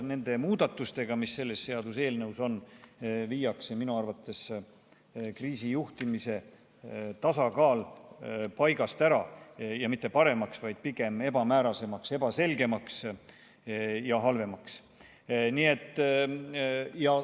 Nende muudatustega, mis selles seaduseelnõus on, viiakse minu arvates kriisijuhtimise tasakaal paigast ära, ja mitte paremaks, vaid pigem ebamäärasemaks, ebaselgemaks ja halvemaks.